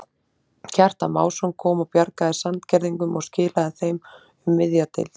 Kjartan Másson kom og bjargaði Sandgerðingum og skilaðu þeim um miðja deild.